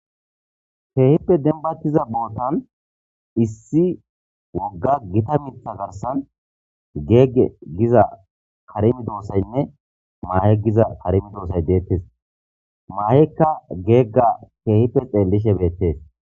Keehippe denbatiza bootan issi wogga gita mitha garsan geegge giza karimi doossaynne maahe giza karimi doosay deettes maa'ekka geegga keehippe xeellishe beettes.